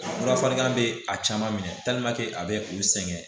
Fura fɔlikan bɛ a caman minɛ a bɛ u sɛgɛn